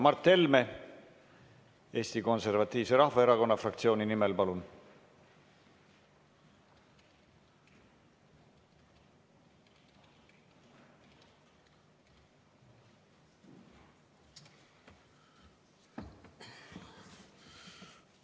Mart Helme Eesti Konservatiivse Rahvaerakonna fraktsiooni nimel, palun!